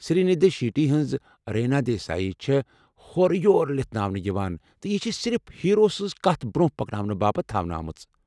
سری نِدھی شیٚٹی ہٕنٛز ریٖنا دیسایی چھےٚ ہورٕیور لِتھناونہٕ یوان تہٕ یہِ چھےٚ صِرف ہیرو سنٛز كتھ برونٛہہ پكناونہٕ باپت تھونہٕ آمٕژ ۔